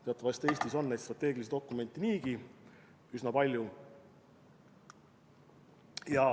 Teatavasti Eestis on strateegilisi dokumente niigi üsna palju.